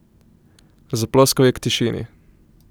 Zaploskal je k tišini.